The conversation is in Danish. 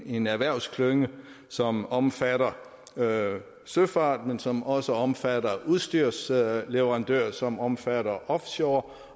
en erhvervsklynge som omfatter søfarten men som også omfatter udstyrsleverandører som omfatter offshore